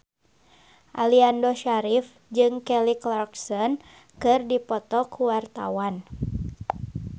Aliando Syarif jeung Kelly Clarkson keur dipoto ku wartawan